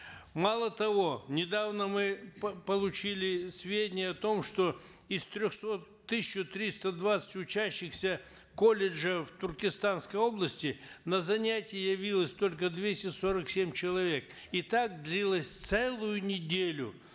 мало того недавно мы получили сведения о том что из трехсот тысяча триста двадцать учащихся колледжа в туркестанской области на занятия явилось только двести сорок семь человек и так длилось целую неделю